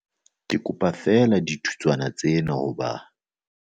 Kopa feela dithutswana tsena ho ba